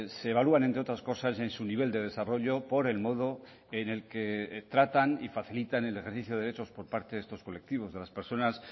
se evalúan entre otras cosas en su nivel de desarrollo por el modo en el que tratan y facilitan el ejercicio de derechos por parte de estos colectivos de las personas